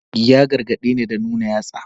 Ya gargadeni da nuna yatsa.